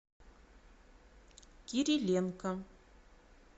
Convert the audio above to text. кириленко